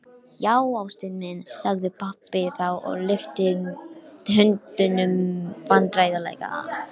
Nærbuxurnar frá í gær og fyrradag